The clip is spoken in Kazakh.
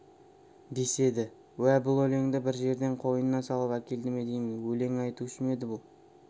деседі уә бұл өлеңді бір жерден қойнына салып әкелді ме деймін өлең айтушы ма еді бұл